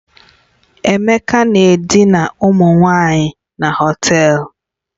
Emeka na-edina ụmụ nwanyị na Họtelu